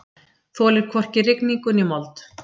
Þolir hvorki rigningu né mold.